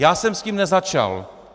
Já jsem s tím nezačal!